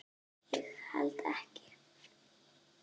Ég held ekki.